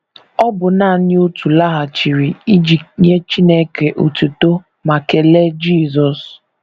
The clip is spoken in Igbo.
Ọ bụ nanị otu laghachiri iji nye Chineke otuto ma kelee Jisọs.